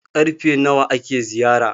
karfe nawa ake ziyara?